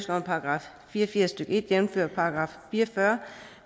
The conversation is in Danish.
§ fire og firs stykke en jævnfør § fire og fyrre